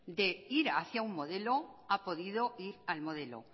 de ir hacia un modelo ha podido ir al modelo